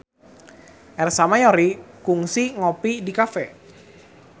Ersa Mayori kungsi ngopi di cafe